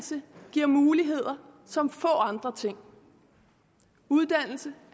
giver muligheder som få andre ting uddannelse